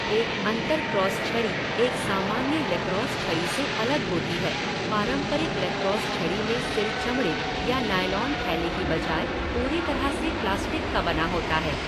एक अंतरक्रॉस छड़ी एक सामान्य लैक्रोस छड़ी से अलग होती है, पारंपरिक लैक्रोस छड़ी में सिर चमड़े या नायलॉन थैले की बजाय पूरी तरह से प्लास्टिक का बना होता है।